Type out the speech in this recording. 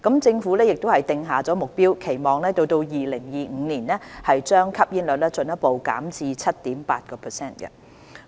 政府亦已訂下目標，期望到2025年把吸煙率進一步減至 7.8%。